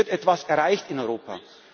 zurück. Es wird etwas erreicht in